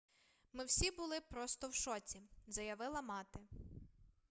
ми всі були просто в шоці - заявила мати